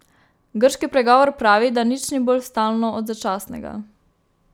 Grški pregovor pravi, da nič ni bolj stalno od začasnega.